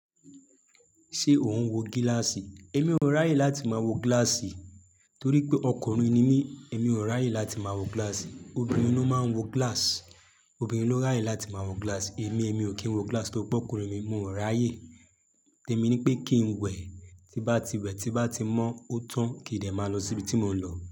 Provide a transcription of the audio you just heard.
Ṣé o n wo gíláàsì? Èmi ò ráyè láti máa wo gíláàsì torí pé ọkùnrin ni mí, èmi ò ráyè láti máa wo gíláàsì. Obìnrin ló máa ń wo gíláàsì, obìnrin ló ráyè láti máa wo gíláàsì. Èmi, èmi ò kí ń wo gíláàsì torí pé ọkùnrin ni mí, mi ò ráyè. Tẹmi ní pé kí n wẹ̀, tí bá ti wẹ̀, tí bá ti mọ́ ọ́ tán, kí n dè máa lọ síbi tí mò ń lọ.